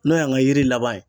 N'o y'an ka yiri laban ye